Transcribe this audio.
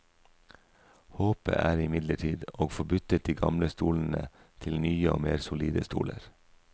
Håpet er imidlertid å få byttet de gamle stolene til nye og mer solide stoler.